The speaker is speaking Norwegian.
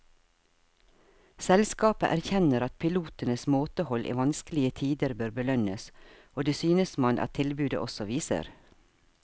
Selskapet erkjenner at pilotenes måtehold i vanskelige tider bør belønnes, og det synes man at tilbudet også viser.